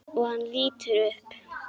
Og hann lítur upp.